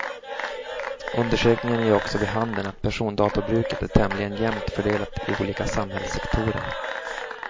Undersökningen ger också vid handen att persondatorbruket är tämligen jämnt fördelat i olika samhällssektorer.